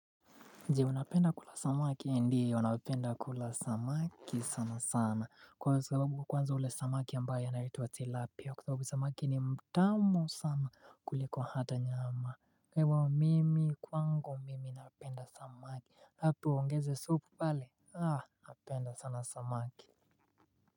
Je, unapenda kula samaki? Ndio, napenda kula samaki sana sana. Kwa sababu kwanza ule samaki ambaye anaitwa tilapia, kwasababu samaki ni mtamu sama kuliko hata nyama. Iwao mimi kwangu mimi napenda samaki. Hapo uongeze soup pale Ah, napenda sana samaki.